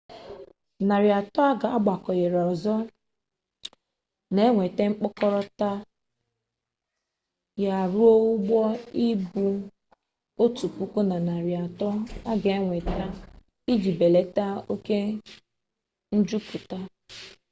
narị atọ a gbakwunyere ọzọ na-eweta mkpokọta ya ruo ụgbọ ibu otu puku na narị atọ a ga-enweta iji belata oke njupụta